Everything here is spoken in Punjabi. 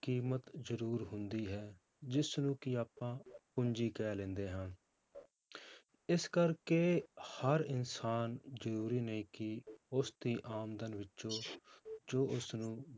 ਕੀਮਤ ਜ਼ਰੂਰ ਹੁੰਦੀ ਹੈ, ਜਿਸਨੂੰ ਕਿ ਆਪਾਂ ਪੂੰਜੀ ਕਹਿ ਲੈਂਦੇ ਹਾਂ ਇਸ ਕਰਕੇ ਹਰ ਇਨਸਾਨ ਜ਼ਰੂਰੀ ਨਹੀਂ ਕਿ ਉਸਦੀ ਆਮਦਨ ਵਿੱਚੋਂ ਜੋ ਉਸਨੂੰ